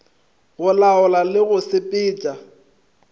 go laola le go sepetša